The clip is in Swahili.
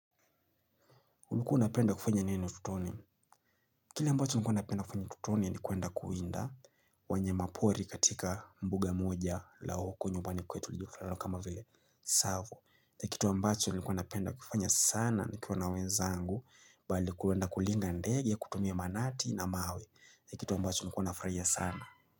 Ulikuwa unapenda kufanya nini tutoni? Kile mbacho nilikuwa napenda kufanya ututoni ni kuenda kuwinda wanyamapori katika mbuga moja la huko nyumbani kwetu iliofanana kama vile savu. Kitu ambacho nilikuwa napenda kufanya sana nikiwa na wenzangu bali kuenda kulinga ndege kutumia manati na mawe. Ni Kitu ambacho nilikuwa nafurahia sana.